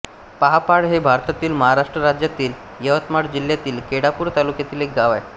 पाहपाळ हे भारतातील महाराष्ट्र राज्यातील यवतमाळ जिल्ह्यातील केळापूर तालुक्यातील एक गाव आहे